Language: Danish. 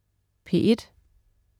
P1: